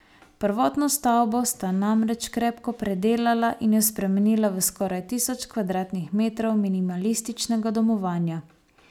Prvotno stavbo sta namreč krepko predelala in jo spremenila v skoraj tisoč kvadratnih metrov minimalističnega domovanja.